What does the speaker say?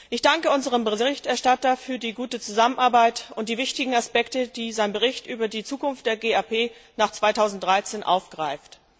Ich danke unserem Berichterstatter für die gute Zusammenarbeit und die wichtigen Aspekte, die sein Bericht über die Zukunft der GAP nach 2013 aufgreift.